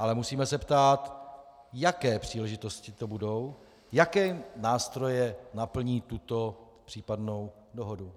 Ale musíme se ptát, jaké příležitosti to budou, jaké nástroje naplní tuto případnou dohodu.